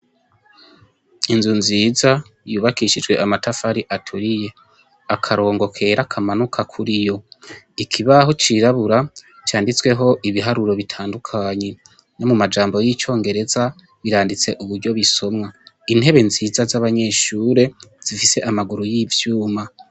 Inzu nziza y' ubakishijw' amatafar' aturiye, akarongo kera kamanuka kuriyo, ikibaho cirabura canditseh' ibiharuro bitandukanye, no mumajambo y icongereza birandits' uburyo bisomwa, intebe nziza z' abanyeshure zifis' amaguru y' ivyuma.